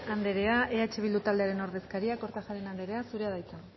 anderea eh bildu taldearen ordezkariak kortajarena anderea zurea da hitza